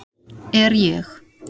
Er ég